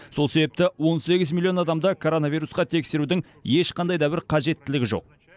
сол себепті он сегіз миллион адамды коронавирусқа тексерудің ешқандай да бір қажеттілігі жоқ